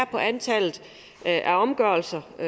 på antallet af omgørelser i